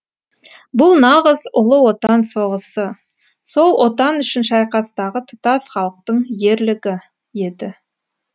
бұл нағыз ұлы отан соғысы сол отан үшін шайқастағы тұтас халықтың ерлігі еді